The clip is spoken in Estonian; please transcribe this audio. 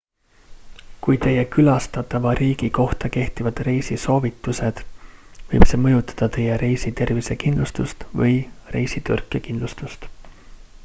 kui teie külastatava riigi kohta kehtivad reisisoovitused võib see mõjutada teie reisi tervisekindlustust või reisitõrkekindlustust